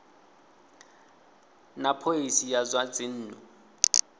na phoisi ya zwa dzinnu